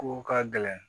Ko ka gɛlɛn